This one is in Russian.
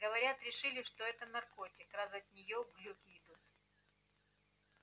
говорят решили что это наркотик раз от нее глюки идут